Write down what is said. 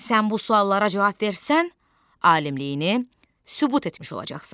Sən bu suallara cavab versən, alimliyini sübut etmiş olacaqsan.